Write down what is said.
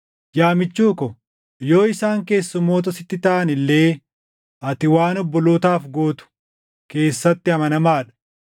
Yaa michuu ko, yoo isaan keessummoota sitti taʼan illee ati waan obbolootaaf gootu keessatti amanamaa dha.